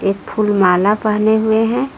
फूल माला पहने हुए हैं।